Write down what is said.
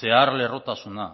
zeharlerrotasuna